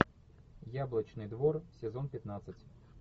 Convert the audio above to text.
яблочный двор сезон пятнадцать